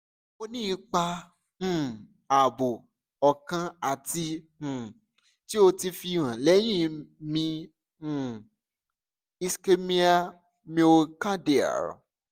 o ni ipa um aabo okan ati um ti o ti fihan lẹhin mi um (ischemia miocardial)